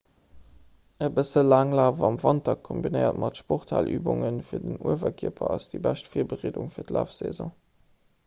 e bësse laanglaf am wanter kombinéiert mat sporthalübunge fir den uewerkierper ass déi bescht virbereedung fir d'lafsaison